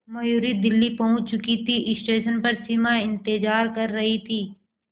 मयूरी दिल्ली पहुंच चुकी थी स्टेशन पर सिमा इंतेज़ार कर रही थी